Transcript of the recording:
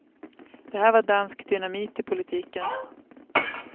Det här var dansk dynamit i politiken.